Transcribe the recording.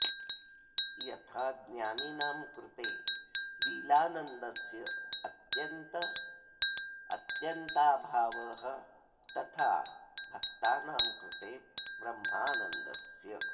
यथा ज्ञानिनां कृते लीलानन्दस्य अत्यन्ताभावस्तथा भक्तानां कृते ब्रह्मानन्दस्य